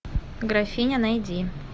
графиня найди